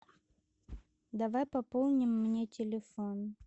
давай пополним мне телефон